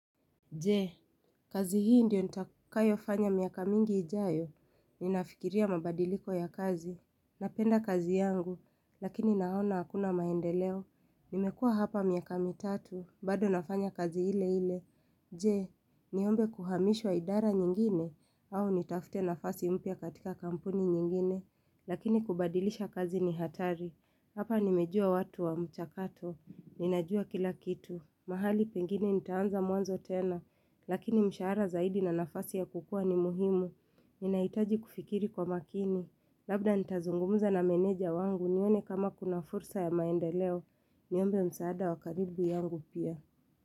Je, kazi hii ndio nitakayo fanya miaka mingi ijayo, ninafikiria mabadiliko ya kazi, napenda kazi yangu, lakini naona hakuna maendeleo, nimekua hapa miaka mitatu, bado nafanya kazi ile ile, je, niombe kuhamishwa idara nyingine, au nitafute na fasi mpya katika kampuni nyingine, lakini kubadilisha kazi ni hatari, hapa nimejua watu wa mchakato, ninajua kila kitu, mahali pengine nitaanza mwanzo tena, Lakini mshaara zaidi na nafasi ya kukua ni muhimu Ninaitaji kufikiri kwa makini Labda nitazungumuza na meneja wangu nione kama kuna fursa ya maendeleo Niombe msaada wakaribu yangu pia.